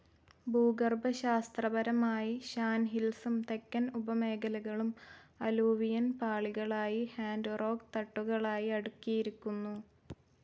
ഭൂഗർഭശാസ്ത്രപരമായി Shan ഹിൽസും തെക്കൻ ഉപമേഖലകളും അലൂവിയൽ പാളികളായി ഹാർഡ്‌ റോക്ക്‌ തട്ടുകളായി അടുക്കിയിരിക്കുന്നു.